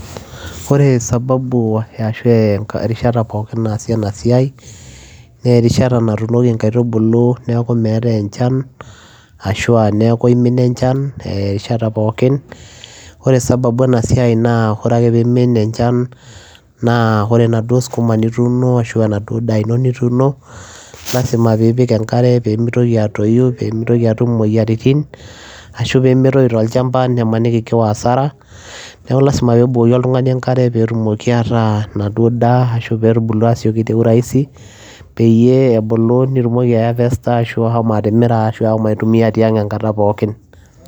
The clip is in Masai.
Oree sababu erishata pookin naasi enaa siai naa erishata natunokii inkatubuluu neeku meetae enchan ashua neeku imina enchan oree sababu enaa siai naa oree enkata pookin naaki imina enchan lazima peyiee ipik enkare peyiee mitokii atoyuu nimitokii atum imoyiaritin ashuu nemetoyuu tolchamba nimaniki kiwaa asaraa neeku lazima peyiee ebukokii oltunganii enkaree peyiee etumokii aataa enaduo daa ashuaa eekuu te urahisi peyiee ebuluu nitumokii aai harvester ashuaa aaitumia tiang enkataa pookin